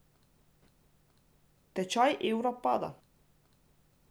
Tečaj evra pada.